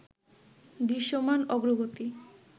দৃশ্যমান অগ্রগতি